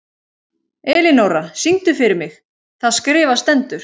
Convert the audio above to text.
Elinóra, syngdu fyrir mig „Það skrifað stendur“.